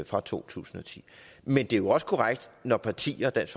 fra to tusind og ti men det er også korrekt når partierne dansk